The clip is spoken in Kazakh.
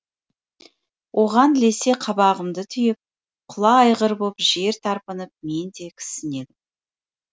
оған ілесе қабағымды түйіп құла айғыр боп жер тарпынып мен де кісінедім